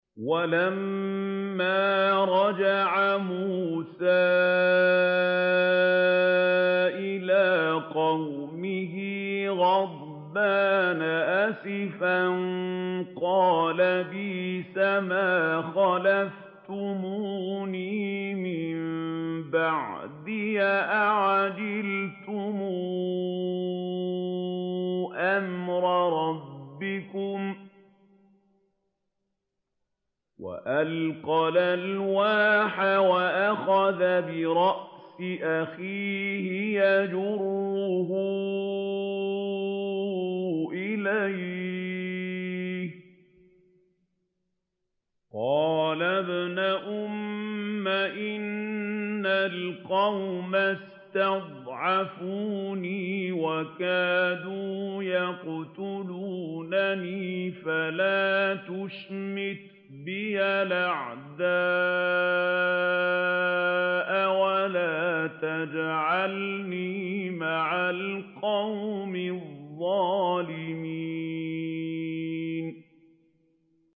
وَلَمَّا رَجَعَ مُوسَىٰ إِلَىٰ قَوْمِهِ غَضْبَانَ أَسِفًا قَالَ بِئْسَمَا خَلَفْتُمُونِي مِن بَعْدِي ۖ أَعَجِلْتُمْ أَمْرَ رَبِّكُمْ ۖ وَأَلْقَى الْأَلْوَاحَ وَأَخَذَ بِرَأْسِ أَخِيهِ يَجُرُّهُ إِلَيْهِ ۚ قَالَ ابْنَ أُمَّ إِنَّ الْقَوْمَ اسْتَضْعَفُونِي وَكَادُوا يَقْتُلُونَنِي فَلَا تُشْمِتْ بِيَ الْأَعْدَاءَ وَلَا تَجْعَلْنِي مَعَ الْقَوْمِ الظَّالِمِينَ